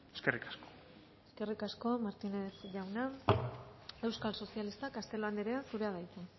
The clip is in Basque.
eskerrik asko eskerrik asko martínez jauna euskal sozialistak castelo anderea zurea da hitza